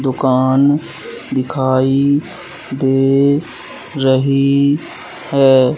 दुकान दिखाई दे रही हैं।